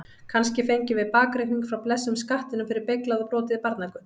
Kannski fengjum við bakreikning frá blessuðum skattinum fyrir beyglað og brotið barnagull?